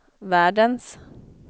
världens